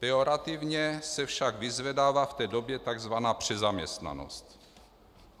Pejorativně se však vyzvedává v té době takzvaná přezaměstnanost.